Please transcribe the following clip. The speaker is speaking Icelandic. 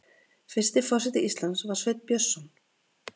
Fyrsti forseti Íslands var Sveinn Björnsson.